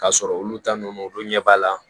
K'a sɔrɔ olu ta nunnu olu don ɲɛ b'a la